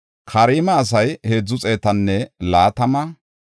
Asaafa koche gidida zammaareti 128;